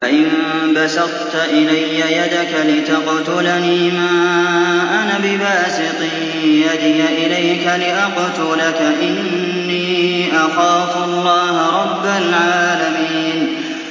لَئِن بَسَطتَ إِلَيَّ يَدَكَ لِتَقْتُلَنِي مَا أَنَا بِبَاسِطٍ يَدِيَ إِلَيْكَ لِأَقْتُلَكَ ۖ إِنِّي أَخَافُ اللَّهَ رَبَّ الْعَالَمِينَ